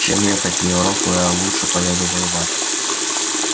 чем ехать в европу я лучше поеду воевать